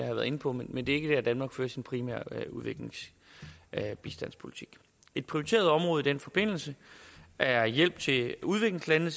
været inde på men det er ikke der hvor danmark fører sin primære bistandspolitik et prioriteret område i den forbindelse er hjælp til udviklingslandene